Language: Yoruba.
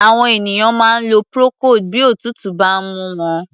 Àwọn ènìyàn máa ń lo procold bí òtútù bá ń mú wọn.